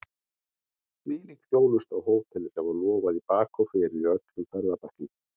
Hvílík þjónusta á hóteli sem var lofað í bak og fyrir í öllum ferðabæklingum!